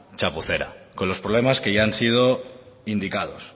chapucera con los problemas que ya han sido indicados